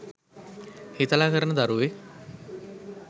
හිතලා කරන දරුවෙක්.